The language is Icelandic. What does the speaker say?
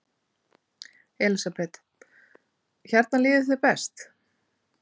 Elísabet: Hérna líður þér best?